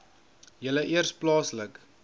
julle eers plaaslik